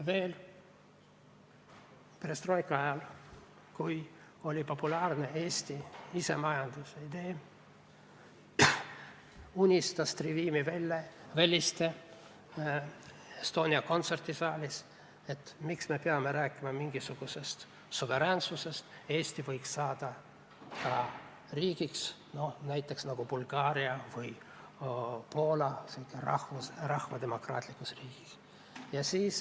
Veel perestroika ajal, kui oli populaarne Eesti isemajandamise idee, unistas Trivimi Velliste Estonia kontserdisaalis, et miks me peame rääkima mingisugusest suveräänsusest, Eesti võiks saada ka riigiks, nagu näiteks Bulgaaria või Poola – rahvademokraatlikuks riigiks.